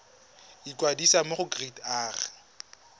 ikwadisa mo go kereite r